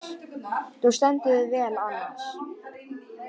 Þú stendur þig vel, Annas!